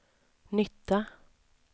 nytta